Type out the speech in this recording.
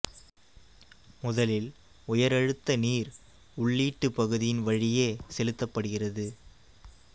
முதலில் உயர் அழுத்த நீர் உள்ளீட்டு பகுதியின் வழியே செலுத்தப்படுகிறது